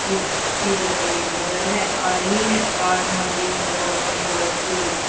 की की तस्वीर नजर है आ रही है Kath Mandi near government girl school --